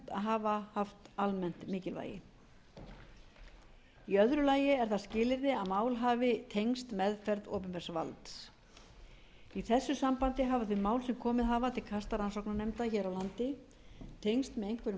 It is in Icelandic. hafa haft almennt mikilvægi í öðru lagi er það skilyrði að mál hafi tengst meðferð opinbers valds í þessu sambandi hafa þau mál sem komið hafa til kasta rannsóknarnefnda hér á landi tengst með einhverjum